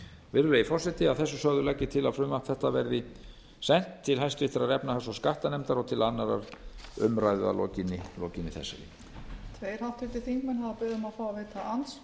virðulegi forseti að þessu sögðu legg ég til að frumvarp þetta verði sent til háttvirtrar efnahags og skattanefndar og til annarrar umræðu að lokinni þessari